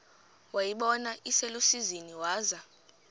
wayibona iselusizini waza